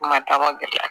Kuma taama gɛlɛya